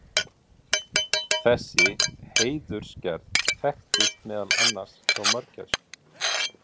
þessi hreiðurgerð þekkist meðal annars hjá mörgæsum